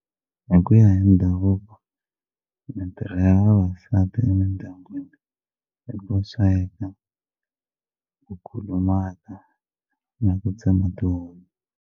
Hi ku ya hi ndhavuko mitirho ya vavasati emindyangwini i ku sweka ku kulumaka na ku tsema tihunyi.